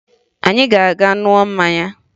Anyị ga-aga ṅụọ mmanya